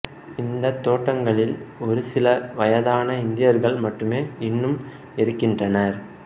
இந்தத் தோட்டங்களில் ஒரு சில வயதான இந்தியர்கள் மட்டுமே இன்னும் இருக்கின்றனர்